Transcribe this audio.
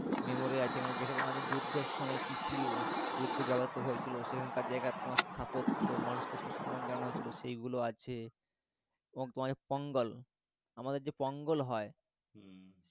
memory আছে মানে যেরকম আছে যুদ্ধর সময় কি কি যুদ্ধে ব্যবহৃত হয়েছিলো সেখানকার জায়গার কোনও স্থাপত্য মানুষকে সম্মান জানানো হয়েছিলো সেগুলো আছে এবং তোমার যে পঙ্গাল আমাদের যে পঙ্গাল হয় হম